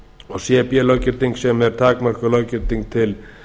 og cb löggildingu sem er takmörkuð löggilding til